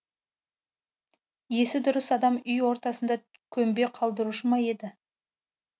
есі дұрыс адам үй ортасына көмбе қалдырушы ма еді